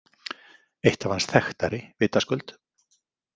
Eitt af hans þekktari, vitaskuld.